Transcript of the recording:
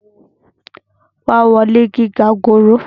wá wo ilé gíga gòòrò!